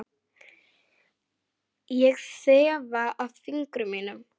Ég þefa af fingrum mínum.